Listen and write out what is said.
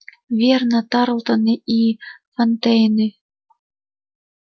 верно тарлтоны или фонтейны